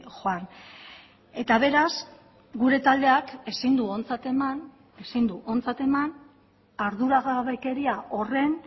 joan eta beraz gure taldeak ezin du ontzat eman ezin du ontzat eman arduragabekeria horren